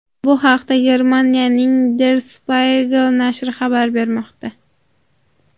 Bu haqda Germaniyaning Der Spiegel nashri xabar bermoqda .